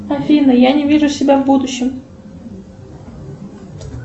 афина я не вижу себя в будущем